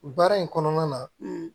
Baara in kɔnɔna na